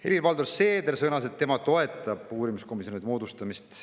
Helir-Valdor Seeder sõnas, et tema toetab uurimiskomisjoni moodustamist.